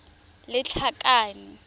lethakane